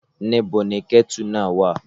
Níbo ni kẹ́tì náà wà?